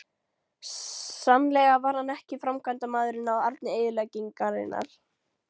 Sannlega var hann ekki framkvæmdamaður á arni eyðileggingarinnar.